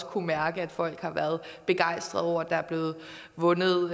kunnet mærke at folk har været begejstrede over at der er blevet vundet